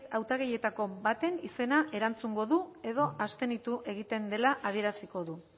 hautagaietako baten izena erantzungo du edo abstenitu egiten dela adieraziko du